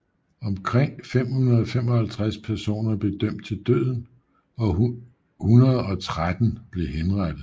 Omkring 555 personer blev dømt til døden og 113 blev henrettet